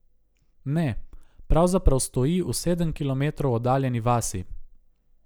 Ne, pravzaprav stoji v sedem kilometrov oddaljeni vasi.